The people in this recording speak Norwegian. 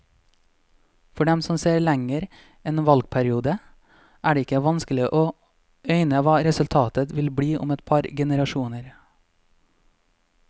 For dem som ser lenger enn en valgperiode, er det ikke vanskelig å øyne hva resultatet vil bli om et par generasjoner.